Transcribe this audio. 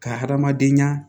Ka hadamadenya